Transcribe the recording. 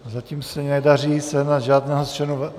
Zatím se nedaří sehnat žádného z členů...